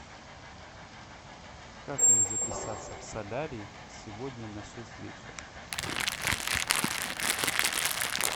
как мне записаться в солярий сегодня на шесть вечера